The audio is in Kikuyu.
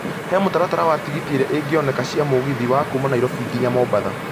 he mũtaratara wa tigiti iria ingioneka cia mugithi wa kuuma nairobi kinya mombatha